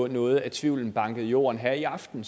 noget af tvivlen i jorden her i aften